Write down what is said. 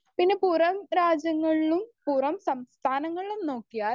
speaker 1 പിന്നെ പുറം രാജ്യങ്ങളിലും പുറം സംസ്ഥാനങ്ങളിലും നോക്കിയാൽ